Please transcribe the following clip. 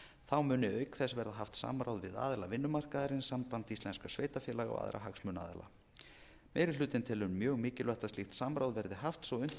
þá muni auk þess verða haft samráð við aðila vinnumarkaðarins samband íslenskra sveitarfélaga og aðra hagsmunaaðila meiri hlutinn telur mjög mikilvægt að slíkt samráð verði haft svo að unnt verði að